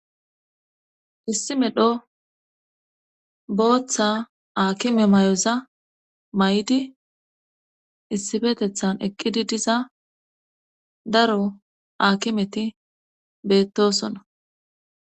Issi medho booththa aakime may7oza may7di issifetethan eqqidi diza daro akimeti beettosonna